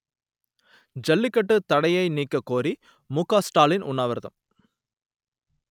ஜல்லிக்கட்டு தடையை நீக்க கோரி முகஸ்டாலின் உண்ணாவிரதம்